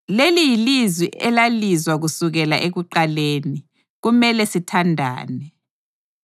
Leli yilizwi elalizwa kusukela ekuqaleni: Kumele sithandane.